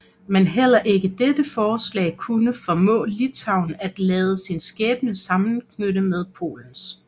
Men heller ikke dette forslag kunne formå Litauen at lade sin skæbne sammenknytte med Polens